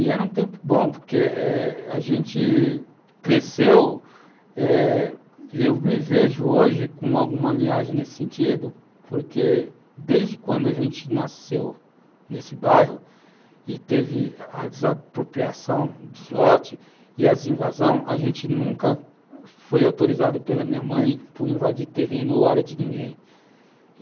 E era um tempo bom, porque eh a gente cresceu eh e eu me vejo hoje com alguma linhagem nesse sentido, porque desde quando a gente nasceu nesse bairro e teve a desapropriação dos lotes e as invasões, a gente nunca foi autorizado pela minha mãe por invadir terreno ou área de ninguém.